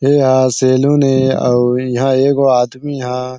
ये ह सैलून ए आऊ इहां एगो आदमी ह--